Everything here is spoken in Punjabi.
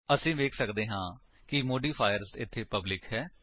ਅਸੀ ਵੇਖ ਸੱਕਦੇ ਹਾਂ ਕਿ ਮੋਡੀਫਾਇਰ ਇੱਥੇ ਪਬਲਿਕ ਹੈ